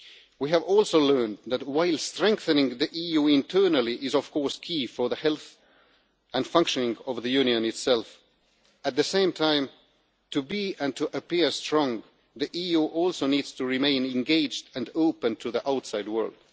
We have also learned that, while strengthening the EU internally is, of course, key for the health and functioning of the Union itself, at the same time, to be and to appear strong, the EU also needs to remain engaged and open to the outside world.